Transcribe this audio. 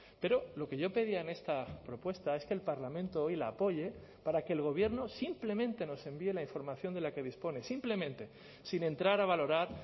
pero lo que yo pedía en esta propuesta es que el parlamento hoy la apoye para que el gobierno simplemente nos envíe la información de la que dispone simplemente sin entrar a valorar